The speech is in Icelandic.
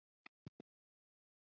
EKKERT Á ÞÉR AÐ HALDA!